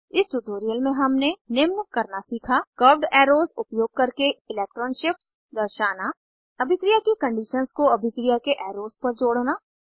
इस ट्यूटोरियल में हमने निम्न करना सीखा कर्व्ड एरोज़ उपयोग करके इलेक्ट्रॉन शिफ्ट्स दर्शाना अभिक्रिया की कंडीशंस को अभिक्रिया के एरोज़ पर जोड़ना